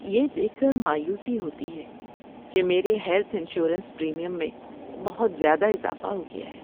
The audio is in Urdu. یہ دیکھ کر مایوسی ہوتی ہے کہ میرے ہیلتھ انشورنس پریمیم میں بہت زیادہ اضافہ ہو گیا ہے۔